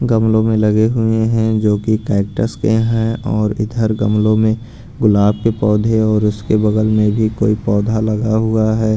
गमलो में लगे हुए हैं जोकि कैक्टस के हैं और इधर गमलो में गुलाब के पौधे और उसके बगल में भी कोई पौधा लगा हुआ है।